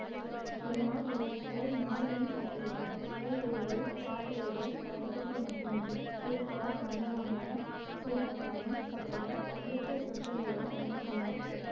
இதனால் இவர் புகழ் நாடெங்கும் பரவியது உரை எழுதுதல் பாட்டெழுதுதல் பதிப்பித்தல் மட்டுமின்றி திருக்குறள் கம்பராமாயணம் சீறாப்புராணம் பற்றிய இலக்கிய சொற்பொழிவுகளும் நிகழ்த்தினார்